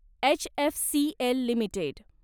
HFCL limited